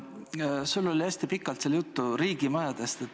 Sul oli hästi pikalt seal juttu riigimajadest.